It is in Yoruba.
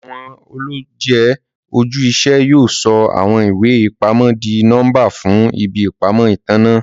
Awọn ọlọjẹ oju-iṣẹ yóò sọ awọn iwe-ipamọ dì nọmba fún ìbí ìpamọ́ ìtanná.